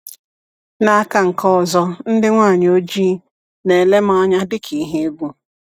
N'aka nke ọzọ, ndị nwanyị ojii na-ele m anya dị ka ihe egwu.